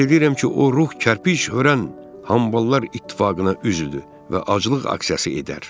Ümid eləyirəm ki, o ruh kərpic hörən hamballar ittifaqına üzüdür və aclıq aksiyası edər.